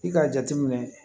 I k'a jateminɛ